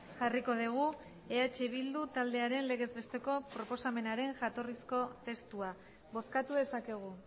jarriko dugu eh bildu taldearen legez besteko proposamenaren jatorrizko testua bozkatu dezakegu